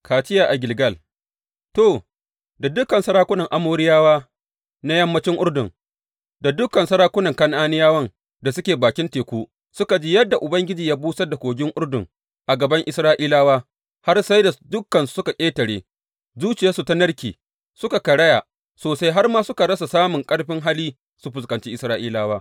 Kaciya a Gilgal To, da dukan sarakunan Amoriyawa na yammancin Urdun, da dukan sarakunan Kan’aniyawan da suke bakin teku suka ji yadda Ubangiji ya busar da kogin Urdun a gaban Isra’ilawa, har sai da dukansu suka ƙetare, zuciyarsu ta narke, suka karaya sosai har ma suka rasa samun ƙarfin hali su fuskanci Isra’ilawa.